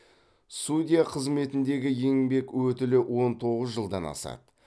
судья қызметіндегі еңбек өтілі он тоғыз жылдан асады